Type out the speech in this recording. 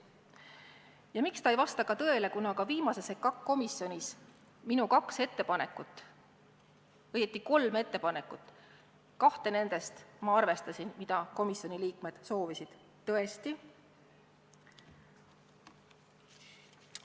Ja tõele ei vasta ta ka sellepärast, et viimases EKAK-i komisjonis oli mul kaks ettepanekut – õieti oli mul ettepanekuid kolm, kahte nendest arvestati –, mida ka komisjoni liikmed soovisid teostada.